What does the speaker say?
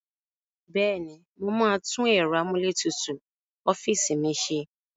Bẹ́ẹ̀ ni, mo máa tún ẹ̀rọ amúlétutù ọ́fíìsì mi ṣe.